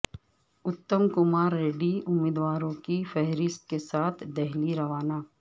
اتم کمار ریڈی امیدواروں کی فہرست کے ساتھ دہلی روانہ